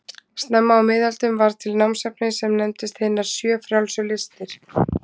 Snemma á miðöldum varð til námsefni sem nefndist hinar sjö frjálsu listir.